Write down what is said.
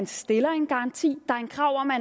stille en garanti der er et krav om at